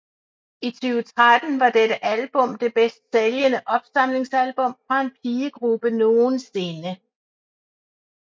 I 2013 var dette album det bedst sælgende opsamlingsalbum fra en pigegruppe nogensinde